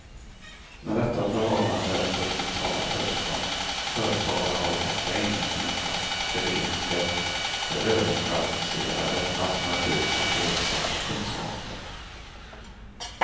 När detta förhållande förs på tal hörs från företagarhåll ofta invändningen att akademiker är överkvalificerade, alternativt har fel sorts kunskap.